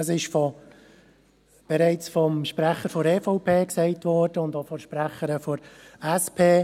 Dies wurde bereits vom Sprecher der EVP und auch von der Sprecherin der SP: